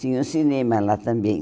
Tinha o cinema lá também.